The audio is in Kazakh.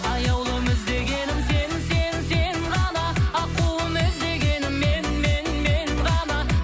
аяулым іздегенім сен сен сен ғана аққуым іздегенің мен мен мен ғана